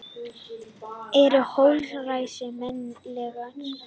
Eru holræsi menningarleg?